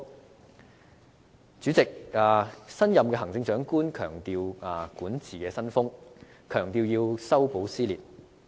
代理主席，新任行政長官強調管治新風，強調要修補撕裂。